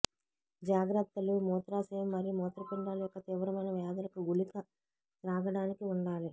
జాగ్రత్తలు మూత్రాశయం మరియు మూత్రపిండాలు యొక్క తీవ్రమైన వ్యాధులకు గుళిక త్రాగడానికి ఉండాలి